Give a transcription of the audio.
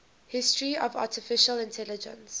history of artificial intelligence